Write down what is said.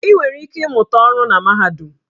Ị nwere ike ịmụta ọrụ na mahadum.